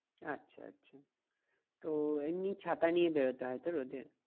আচ্ছা আচ্ছা তো এমনি ছাতা নিয়ে বেরোতে হয় তো রোদে?